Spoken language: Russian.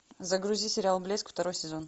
загрузи сериал блеск второй сезон